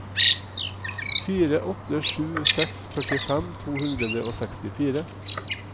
fire åtte sju seks førtifem to hundre og sekstifire